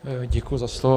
Děkuji za slovo.